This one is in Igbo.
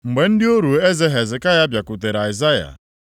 Mgbe ndị ọrụ eze Hezekaya bịakwutere Aịzaya,